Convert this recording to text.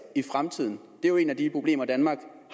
i fremtiden det er jo et af de problemer danmark